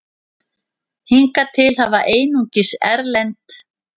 Hingað til hafa einungis erlend